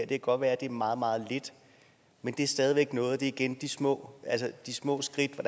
kan godt være at det er meget meget lidt men det er stadig væk noget og det er igen de små de små skridt